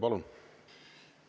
Palun!